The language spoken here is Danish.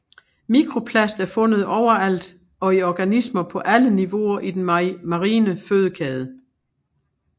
Mikroplast er fundet overalt og i organismer på alle niveauer i den marine fødekæde